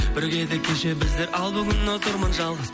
бірге едік кеше біздер ал бүгін отырмын жалғыз